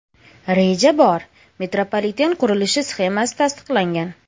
Reja bor, metropoliten qurilishi sxemasi tasdiqlangan.